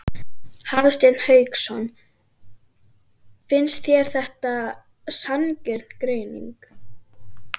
Hafsteinn Hauksson: Finnst þér þetta sanngjörn greining?